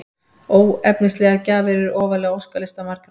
Óefnislegar gjafir eru ofarlega á óskalista margra.